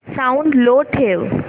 sound low ठेव